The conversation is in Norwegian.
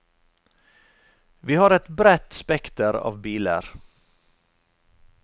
Vi har et bredt spekter av biler.